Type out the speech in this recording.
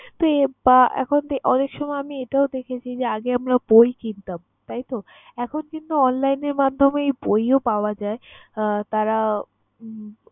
তো আহ বা এখন অনেক সময় আমি এটাও দেখেছি যে, আগে আমরা বই কিনতাম, তাইতো? এখন কিন্তু online এর মাধ্যমে বইও পাওয়া যায়। আহ তারা উম